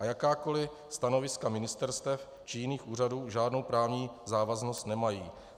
A jakákoliv stanoviska ministerstev či jiných úřadů žádnou právní závaznost nemají.